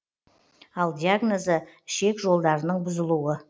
ал диагнозы ішек жолдарының бұзылуы